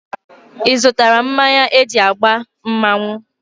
Ịzụtara mmanya eji agba mmanwụ?